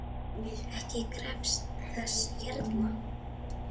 Ég krefst þess herra!